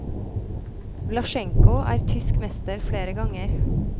Vlascenko er tysk mester flere ganger.